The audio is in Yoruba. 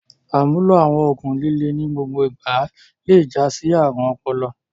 Àmúlò àwọn òògùn líle ní gbogbo ìgbà le jásí àrùn ọpọlọ.